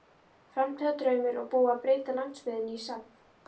Framtíðardraumur og búið að breyta landsbyggðinni í safn.